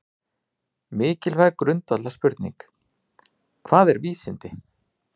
Mikilvæg grundvallarspurning er: Hvað eru vísindi?